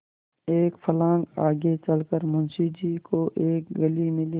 एक फर्लांग आगे चल कर मुंशी जी को एक गली मिली